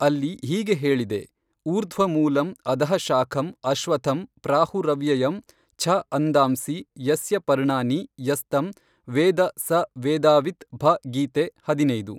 ಅಲ್ಲಿ ಹೀಗೆ ಹೇಳಿದೆ ಊರ್ಧ್ವ ಮೂಲಂ ಅಧಃ ಶಾಖಂ ಅಶ್ವತ್ಥಂ ಪ್ರಾಹುರವ್ಯಯಂ ಛ ಅಂದಾಂಸಿ ಯಸ್ಯ ಪರ್ಣಾನಿ ಯಸ್ತಂ ವೇದ ಸ ವೇದಾವಿತ್ ಭ ಗೀತೆ ಹದಿನೈದು.